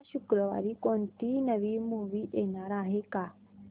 या शुक्रवारी कोणती नवी मूवी येणार आहे का